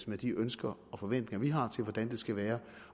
med de ønsker og forventninger vi har til hvordan det skal være